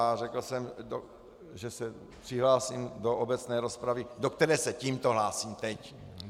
A řekl jsem, že se přihlásím do obecné rozpravy, do které se tímto hlásím teď.